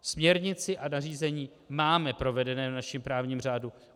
Směrnici a nařízení máme provedené v našem právním řádu.